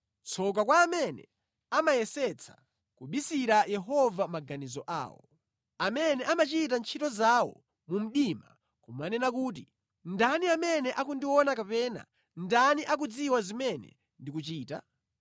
Tsoka kwa amene amayesetsa kubisira Yehova maganizo awo, amene amachita ntchito zawo mu mdima nʼkumanena kuti, “Ndani amene akundiona kapena ndani akudziwa zimene ndikuchita?”